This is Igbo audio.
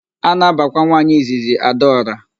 A na-abakwa nwaanyị izizi Adaọra.